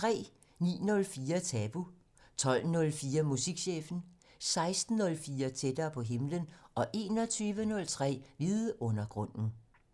09:04: Tabu 12:04: Musikchefen 16:04: Tættere på himlen 21:03: Vidundergrunden